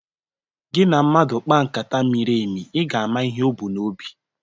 Gị na mmadụ kpaa nkata miri emi, ị ga-ama ihe o bu n'obi